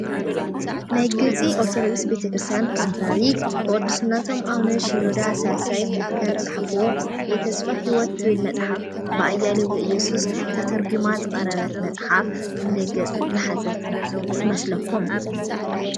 ናይ ግብፂ ኦርቶዶክስ ቤተክርስትያን ፓትራሪክ ብቅዱስነቶም ኣውነ ሲኖዳት ሳልሳይ ከም ዝፃሓፍዎ የተስፋ ሂወት ትብል መፅሓፍ ብኣያሌው ዘእየሱስ ተተርጊማ ዝቐረበት መፅሓፍ ክንደይ ገፅ ዝሓዘት ትመስለኩም ?